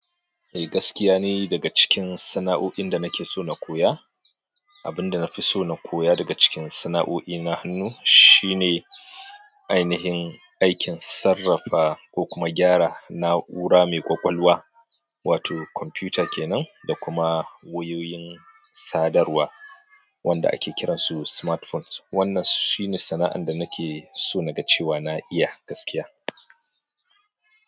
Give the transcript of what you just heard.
Eh gaskiya ni daga cikin sana'o'in da nake so na koya, abin da na fi so na koya daga cikin sana'o'i na hannu shine ainihin aikin sarrafa ko kuma gyara na'ura mai ƙwaƙwalwa wato kwamfuta kenan da kuma wayoyin sadarwa wanda ake kiransu smartphones. Wannan shine sana'an da nake so naga cewa na iya gaskiya.